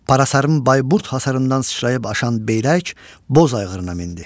Parasarın Bayburd hisarından sıçrayıb aşan Beyrək boz ayğırına mindi.